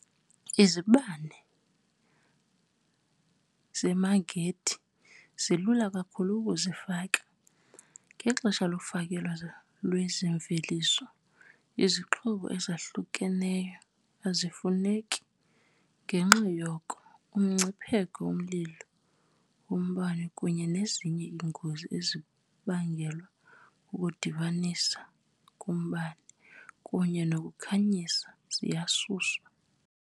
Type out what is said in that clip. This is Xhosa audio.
Izibane zemagnethi zilula kakhulu ukuzifaka, ngexesha lofakelo lwezi mveliso, izixhobo ezahlukeneyo azifuneki, ngenxa yoko umngcipheko womlilo wombane kunye nezinye iingozi ezibangelwa kukudibanisa kombane kunye nokukhanyisa ziyasuswa.